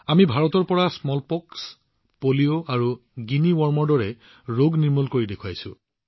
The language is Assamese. আমি ভাৰতৰ পৰা সৰু আই পলিঅ আৰু গিনি ৱৰ্মৰ দৰে ৰোগ নিৰ্মূল কৰিছো